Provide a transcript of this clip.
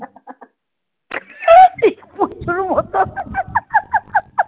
পুচুর মতো হুম.